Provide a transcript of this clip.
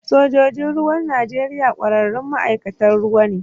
Sojojin ruwan Najeriya ƙwararrun ma'aikatan ruwa ne